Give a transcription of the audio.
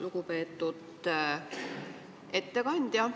Lugupeetud ettekandja!